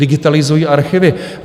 Digitalizují archivy.